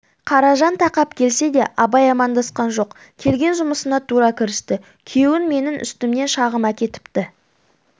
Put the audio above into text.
қаражан тақап келсе де абай амандасқан жоқ келген жұмысына тура кірісті күйеуің менің үстімнен шағым әкетіпті